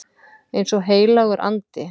Eins og heilagur andi.